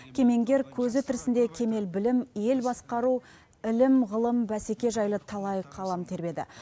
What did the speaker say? кемеңгер көзі тірісінде кемел білім ел басқару ілім ғылым бәсеке жайлы талай қалам тербеді